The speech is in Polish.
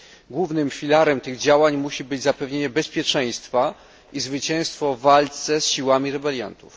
Głównym filarem tych działań musi być zapewnienie bezpieczeństwa i zwycięstwo w walce z siłami rebeliantów.